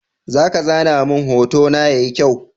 Zaka zana mun hotona yayi kyau?